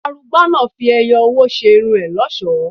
Arugba náà fi ẹyọ owó ṣe irun ẹ lọ́ṣọ̀ọ́.